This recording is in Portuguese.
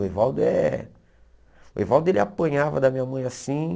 O Evaldo é... O Evaldo, ele apanhava da minha mãe assim.